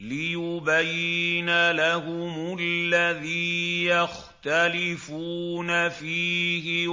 لِيُبَيِّنَ لَهُمُ الَّذِي يَخْتَلِفُونَ فِيهِ